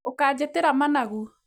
Ũkanjĩtĩra managu